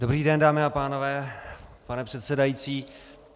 Dobrý den, dámy a pánové, pane předsedající.